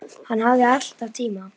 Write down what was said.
Hann hafði alltaf tíma.